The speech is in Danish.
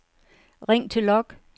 ring til log